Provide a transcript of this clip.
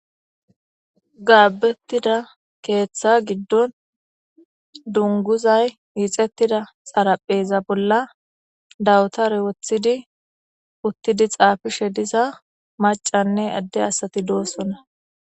Gaabettida keeththa giddon dunguzay hixettida xarapheeza bolla dawutare woththidi uttidi xaafishe diza macanne adde asati doosona.